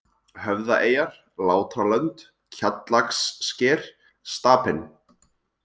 Höfðaeyjar, Látralönd, Kjallakssker, Stapinn